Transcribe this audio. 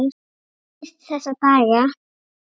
Hann minnist þessa dags.